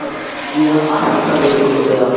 Ég hef alltaf verið góð við hana.